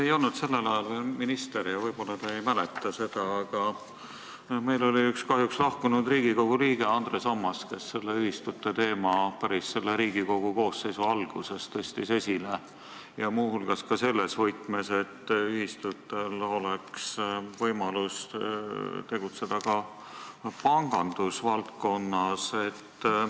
Te ei olnud sellel ajal minister ja võib-olla te ei mäleta seda, aga nüüdseks kahjuks lahkunud Riigikogu liige Andres Ammas tõstis selle ühistute teema päris selle Riigikogu koosseisu alguses esile, muu hulgas selles võtmes, et ühistutel võiks olla võimalus tegutseda ka pangandusvaldkonnas.